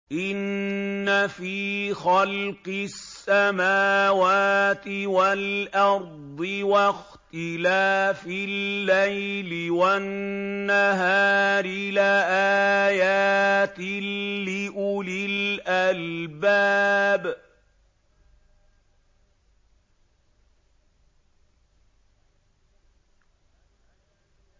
إِنَّ فِي خَلْقِ السَّمَاوَاتِ وَالْأَرْضِ وَاخْتِلَافِ اللَّيْلِ وَالنَّهَارِ لَآيَاتٍ لِّأُولِي الْأَلْبَابِ